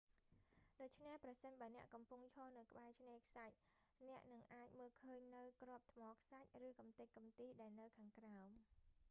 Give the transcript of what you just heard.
ដូច្នេះ ប្រសិនបើអ្នកកំពុងឈរនៅក្បែរឆ្នេរខ្សាច់ អ្នកនឹងអាចមើលឃើញនូវគ្រាប់ថ្មខ្សាច់ ឬកំទេចកំទីដែលនៅខាងក្រោម